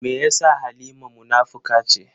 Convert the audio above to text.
Me yasa Halima munafuka ce?